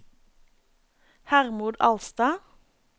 Hermod Alstad